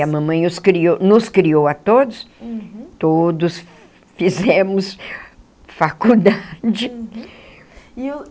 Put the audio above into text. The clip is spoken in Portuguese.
E a mamãe os criou nos criou a todos, todos fizemos faculdade. E o